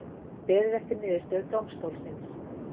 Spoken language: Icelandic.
Beðið eftir niðurstöðu dómstólsins